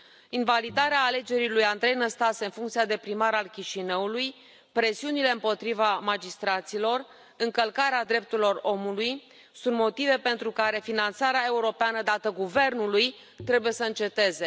Invalidarea alegerii lui Andrei Năstase în funcția de primar al Chișinăului, presiunile împotriva magistraților, încălcarea drepturilor omului sunt motive pentru care finanțarea europeană dată guvernului trebuie să înceteze.